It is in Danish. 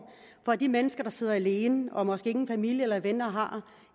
for de mennesker der sidder alene og måske ingen familie eller venner har